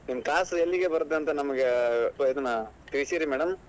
ನಿಮ್ class ಎಲ್ಲಿಗೆ ಬರುತ್ತೆ ಅಂತ ನಮ್ಗ್ ಇದನ್ ಕಳಿಸಿರಿ madam .